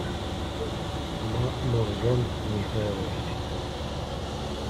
маморжон михайлович